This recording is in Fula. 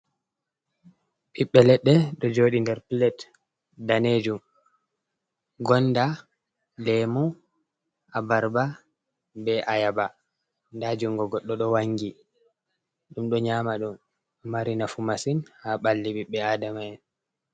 Ɓiɓɓe ledde do jooɗi nder plate danejum gonda lemu abarba be ayaba nda jungo goɗɗo do Wangi, ɗum do nyama do mari nafu masin ha ɓalli ɓiɓɓe aadama'en.